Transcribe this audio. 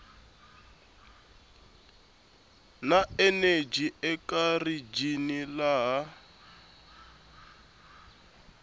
na eneji eka rijini laha